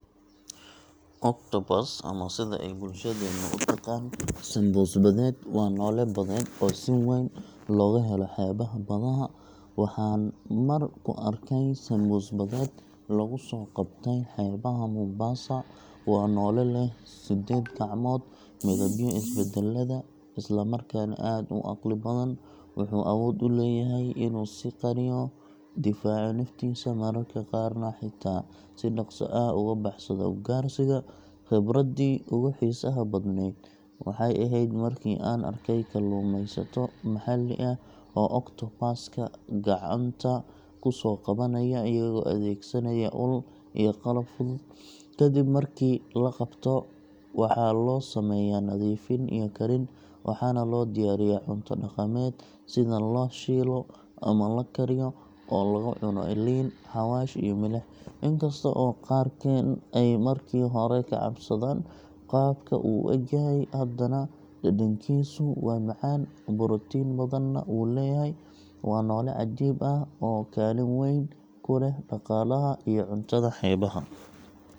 Octopus, ama sida ay bulshadeennu u taqaan sanbuus badeed, waa noole badeed oo si weyn looga helo xeebaha badaha. Waxaan mar ku arkay sanbuus badeed lagu soo qabtay xeebaha Mombasa. Waa noole leh siddeed gacmood, midabyo isbedbedela, isla markaana aad u caqli badan wuxuu awood u leeyahay inuu is qariyo, difaaco naftiisa, mararka qaarna xitaa si dhakhso ah uga baxsado ugaarsiga. Khibraddii ugu xiisaha badnayd waxay ahayd markii aan arkay kalluumaysato maxalli ah oo octopus ka gacanta ku soo qabanaya iyagoo adeegsanaya ul iyo qalab fudud. Kadib markii la qabto, waxaa loo sameeyaa nadiifin iyo karin, waxaana loo diyaariyaa cunto dhaqameed sida la shiilo ama la kariyo oo lagu cuno liin, xawaash iyo milix. In kasta oo qaarkeen ay markii hore ka cabsadaan qaabka uu u egyahay, haddana dhadhankiisu waa macaan, borotiin badanna wuu leeyahay. Waa noole cajiib ah, oo kaalin weyn ku leh dhaqaalaha iyo cuntada xeebaha.